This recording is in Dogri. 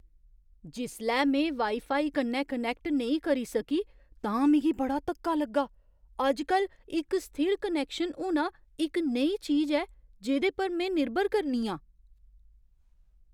जिसलै में वाई फाई कन्नै कनैक्ट नेईं करी सकी तां मिगी बड़ा धक्का लग्गा। अजकल, इक स्थिर कनैक्शन होना इक नेही चीज ऐ जेह्‌दे पर में निर्भर करनी आं।